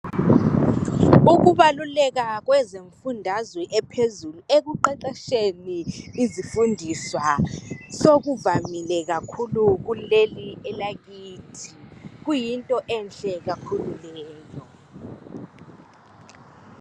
Ukubaluleka kwezimfundazwe ephezulu ekuqeqetsheni izifundiswa sokuvamile kakhulu kuleli elakithi kuyinto enhle kakhulu leyo